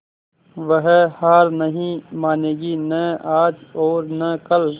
वह हार नहीं मानेगी न आज और न कल